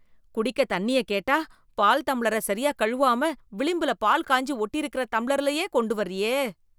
குடிக்க தண்ணியக் கேட்டா, பால் தம்ளரை சரியா கழுவாம, விளிம்புல பால் காய்ஞ்சி ஒட்டியிருக்கற தம்ளர்லயே, கொண்டுவர்றியே...